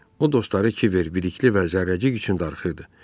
O dostları Kiver, Bəlikli və Zərrəcik üçün darıxırdı.